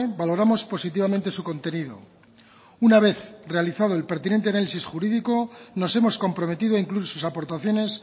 valoramos positivamente su contenido una vez realizado el pertinente análisis jurídico nos hemos comprometido a incluir sus aportaciones